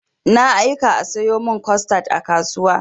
Na aika a sayo min costad a kasuwa.